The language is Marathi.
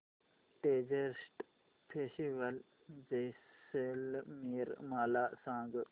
डेजर्ट फेस्टिवल जैसलमेर मला सांग